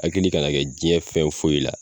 A hakili ka na kɛ jɛn fɛn foyi ye la